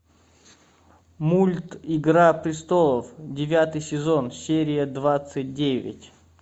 мульт игра престолов девятый сезон серия двадцать девять